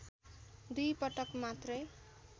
दुई पटक मात्रै